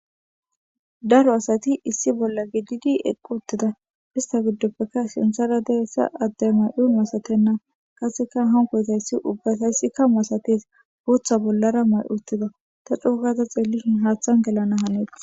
Daro asati issi bolla gididi eqqi uttida. Histta giddoppekka sinththara diyayssa adde ma7oy masatenna. Qassekka hankkoyzati ubbatassikka masatees. Booththa bollara ma7i uttida. Ta coogaada xeelishin haaththan gelana haaneetees.